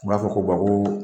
U b'a fɔ ko ko.